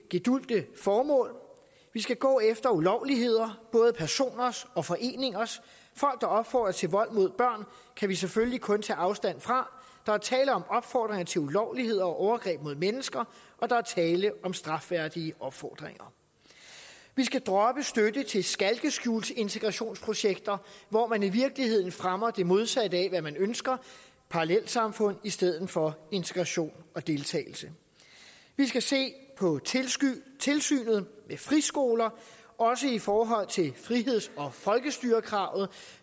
gedulgte formål vi skal gå efter ulovligheder både personers og foreningers folk der opfordrer til vold mod børn kan vi selvfølgelig kun tage afstand fra der er tale om opfordringer til ulovligheder og overgreb mod mennesker og der er tale om strafværdige opfordringer vi skal droppe støtte til skalkeskjulsintegrationsprojekter hvor man i virkeligheden fremmer det modsatte af hvad man ønsker parallelsamfund i stedet for integration og deltagelse vi skal se på tilsynet med friskoler også i forhold til friheds og folkestyrekravet